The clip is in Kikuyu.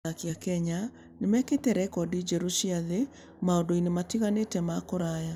Athaki a Kenya nĩ mekĩte rekondi njerũ cia thĩ maũndũ-inĩ matiganĩte ma kũraya.